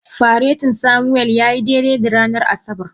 Faretin Samuel ya yi daidai da ranar Asabar.